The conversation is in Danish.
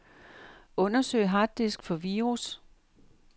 Undersøg harddisk for virus.